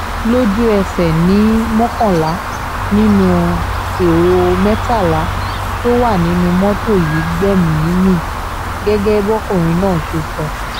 lójú ẹsẹ̀ ni mọ́kànlá nínú ẹ̀rọ mẹ́tàlá tó wà nínú mọ́tò yìí gbẹ̀mí-ín mi gẹ́gẹ́ bọ́kùnrin náà ṣe sọ